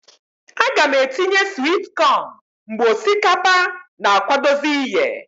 A g' m atinye swit cọn mgbe osikapa na akwadozi iye.